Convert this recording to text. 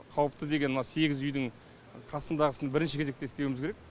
қауіпті деген мына сегіз үйдің қасындағысын бірінші кезекте істеуіміз керек